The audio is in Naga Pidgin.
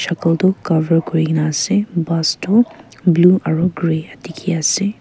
shakal tu cover kuri kina ase bus tu blue aro grey tiki ase.